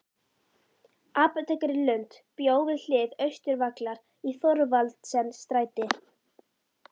Apótekari Lund bjó við hlið Austurvallar í Thorvaldsensstræti